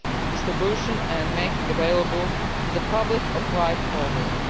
distribution and making available to the public of right holders.